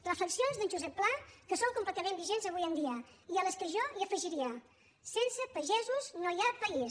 reflexions d’en josep pla que són completament vigents avui en dia i a les quals jo hi afegiria sense pagesos no hi ha país